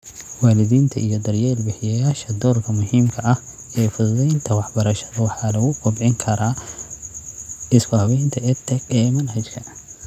Waalidiinta iyo daryeel bixiyayaasha doorka muhiimka ah ee fududaynta waxbarashada waxaa lagu kobcin karaa isku-habaynta EdTech ee manhajka.